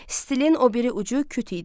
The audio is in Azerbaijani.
Stilin o biri ucu küt idi.